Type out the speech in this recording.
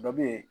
Dɔ bɛ ye